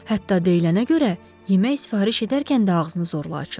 Hətta deyilənə görə, yemək sifariş edərkən də ağzını zorla açır.